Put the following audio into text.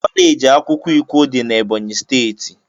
kọleji akwukwo ikwo dị na Ebọnyị steeti.